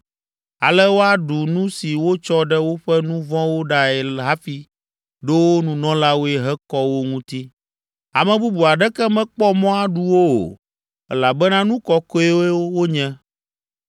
Ale woaɖu nu si wotsɔ ɖe woƒe nu vɔ̃wo ɖae hafi ɖo wo nunɔlawoe hekɔ wo ŋuti. Ame bubu aɖeke mekpɔ mɔ aɖu wo o, elabena nu kɔkɔewo wonye.